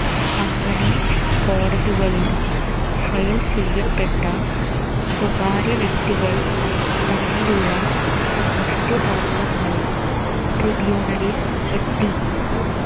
അങ്ങനെ കോടതികളിൽ ഫയൽ ചെയ്യപ്പെട്ട സ്വകാര്യവ്യക്തികൾ തമ്മിലുള്ള വസ്തു തർക്കങ്ങളും ട്രീബൂണലിൽ എത്തി